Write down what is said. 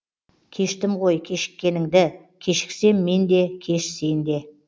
кештім ғой кешіккеніңді кешіксем мен де кеш сен де